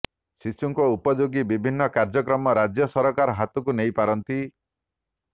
ଶିଶୁଙ୍କ ଉପଯୋଗୀ ବିଭିନ୍ନ କାର୍ଯ୍ୟକ୍ରମ ରାଜ୍ୟ ସରକାର ହାତକୁ ନେଇପାରନ୍ତି